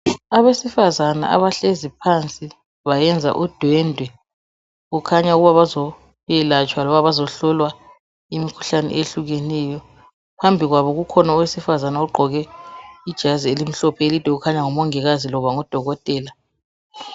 Abesifazana abahleziphansi bayenza udwendwe kukhanya ukuba bazoyelatshwa loba bazohlolwa imikhuhlane eyehlukeneyo. Phambikwabo kukhona owesifazana ogqoke ijazi elimhlophe elide okhanya ngumongikazi loba udokotela.